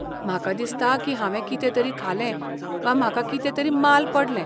म्हाका दिसता की हांवें कितेतरी खालें वा म्हाका कितेंतरी माल पडलें.